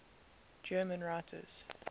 german writers